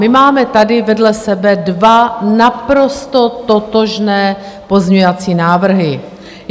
My máme tady vedle sebe dva naprosto totožné pozměňovací návrhy.